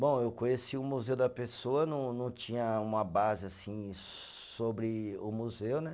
Bom, eu conheci o Museu da Pessoa, não não tinha uma base assim sobre o museu, né?